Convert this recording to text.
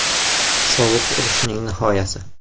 Sovuq urushning nihoyasi.